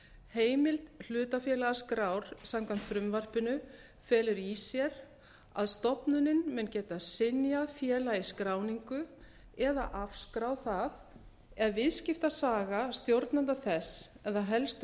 heimild hlutafélagaskrár samkvæmt frumvarpinu felur í sér að stofnunin mun geta synjað félagi skráningu eða afskráð það ef viðskiptasaga stjórnenda þess eða helstu